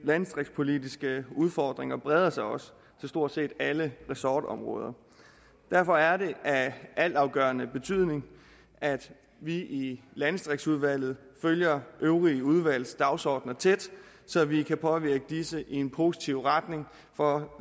landdistriktspolitiske udfordringer breder sig også til stort set alle ressortområder derfor er det af altafgørende betydning at vi i landdistriktsudvalget følger de øvrige udvalgs dagsordener tæt så vi kan påvirke disse i en positiv retning for